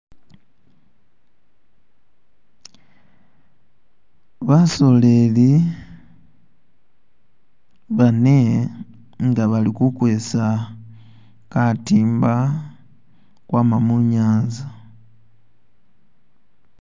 Basoleli bane inga bali kukwesa katimba kwama munyanza